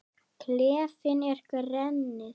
Klefinn er grenið.